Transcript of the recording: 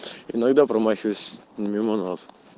иногда промахиваюсь мимо нас